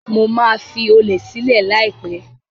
Mo máa fi olè sílẹ̀ láìpẹ́.